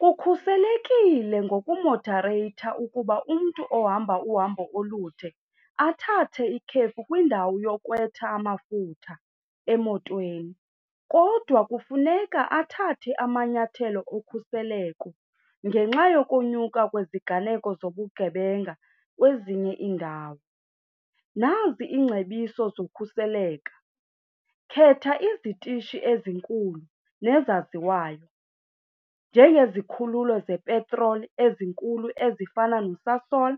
Kukhuselekile ngokumodareyitha ukuba umntu ohamba uhambo olude athathe ikhefu kwindawo yokhwetha amafutha emotweni, kodwa kufuneka athathe amanyathelo okhuseleko ngenxa yokonyuka kweziganeko zobugebenga kwezinye iindawo. Nazi iingcebiso zokhuseleko, khetha izitishi ezinkulu nezaziwayo njengezikhululo zepetroli ezinkulu ezifana noSasol,